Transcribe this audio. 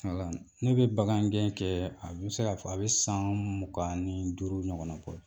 Ne bɛ bagangɛn kɛ a bɛ se k'a fɔ a bɛ san mugan ni duuru ɲɔgɔn bɔ